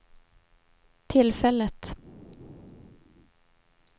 tillfället